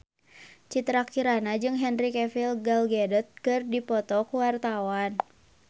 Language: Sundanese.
Citra Kirana jeung Henry Cavill Gal Gadot keur dipoto ku wartawan